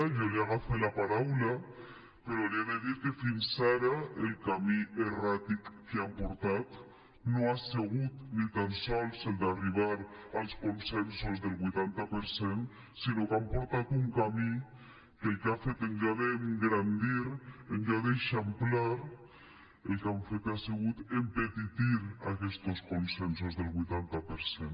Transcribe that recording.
jo li agafe la paraula però li he de dir que fins ara el camí erràtic que han portat no ha sigut ni tan sols el d’arribar als consensos del vuitanta per cent sinó que han portat un camí que el que ha fet en lloc d’engrandir en lloc d’eixamplar el que han fet ha sigut empetitir aquests consensos del vuitanta per cent